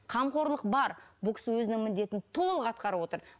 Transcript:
қамқорлық бар бұл кісі өзінің міндетін толық атқарып отыр